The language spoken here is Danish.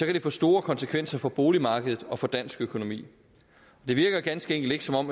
det få store konsekvenser for boligmarkedet og for dansk økonomi det virker ganske enkelt ikke som om